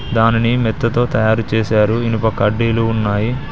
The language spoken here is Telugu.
దానిని మెత్తతో తయారు చేశారు ఇనుప కడ్డీలు ఉన్నాయి.